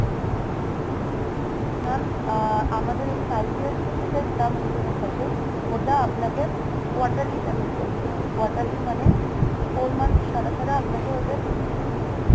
mam ah আমাদের এই five years যেটা term insurance আছে ওটা আপনাকে quarterly payment করতে হবে। quarterly মানে four months ছাড়া ছাড়া আপনাকে ওটায় payment করতে হবে।